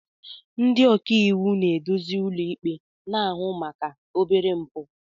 Ndị ọka iwu na-eduzi ụlọikpe na-ahụ maka obere mpụ.